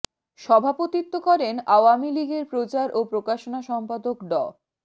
সভাপতিত্ব করেন আওয়ামী লীগের প্রচার ও প্রকাশনা সম্পাদক ড